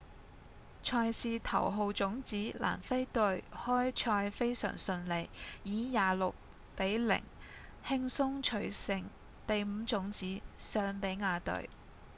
賽事頭號種子南非隊開賽非常順利以26比0輕鬆取勝第五種子尚比亞隊